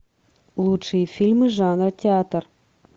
лучшие фильмы жанра театр